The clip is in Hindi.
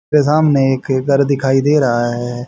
इसके सामने एक घर दिखाई दे रहा है।